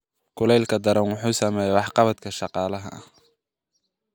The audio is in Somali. Kuleylka daran wuxuu saameeyaa waxqabadka shaqaalaha.